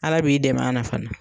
Ala b'i dɛmɛ ala fana.